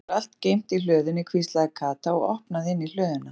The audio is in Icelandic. Það er örugglega allt geymt í hlöðunni hvíslaði Kata og opnaði inn í hlöðuna.